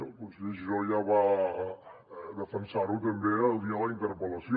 el conseller giró ja va defensar ho també el dia de la interpel·lació